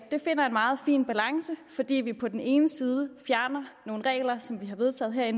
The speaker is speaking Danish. finder en meget fin balance fordi vi på den ene side fjerner nogle regler som vi har vedtaget her i